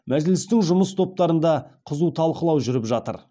мәжілістің жұмыс топтарында қызу талқылау жүріп жатыр